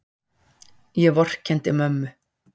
Ég vorkenndi mömmu.